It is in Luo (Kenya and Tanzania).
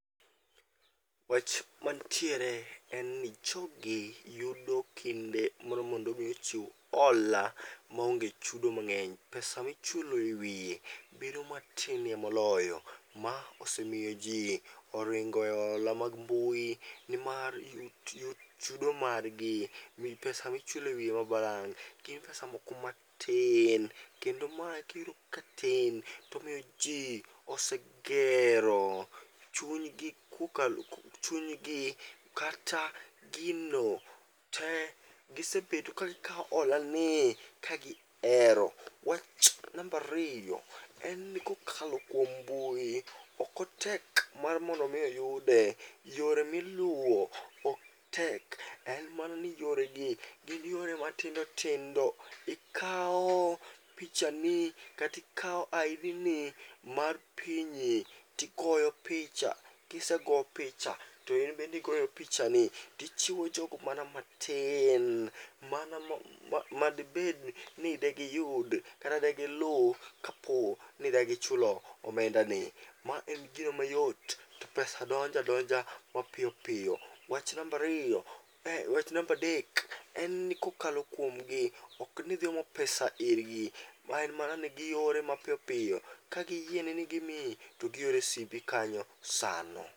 Wach mantiere en ni jogi yudo kinde moro mondo mi ochiw hola maonge chudo mang'eny. Pesa michulo e wiye bedo matinie moloyo, ma osemiyo ji oringo e hola mag mbui. Ni mar chudo margi mi pesa michulo e wiye ma balang', gin pesa moko matin. Kendo mae kiyudo ka tin tomiyo ji osegere chunygi kokalo, chunygi kata gino te. Gisebedo kagikawo hola ni kagi hero. Wach nambariyo, en ni kokalo kuom mbui, okotek mar mondomi oyude. Yore miluwo ok tek, en mana ni yore gi gin yore matindo tindo. Ikao picha ni katikawo ID ni tigoyo picha. Kisego picha to in bendigoyo picha ni, tichiwo jogo mana matin mana madibed ni degiyud kata degilu kapo ni degichulo omenda ni. Ma en gino mayot to pesa donja donja mapiyo piyo. Wacha nambariyo, wach nambadek en ni kokalo kuomgi, ok nidhi omo pesa irgi. Ma en mana ni giore mapiyo piyo, ka giyieni ni gimiyi to giore simbi kanyo sano.